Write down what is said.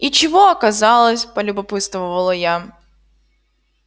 и чего оказалось полюбопытствовала я